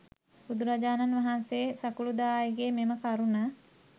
බුදුරජාණන් වහන්සේ සකුළුදායිගේ මෙම කරුණ